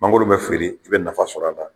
Mangolo bɛ feere, i bɛ nafa sɔrɔ la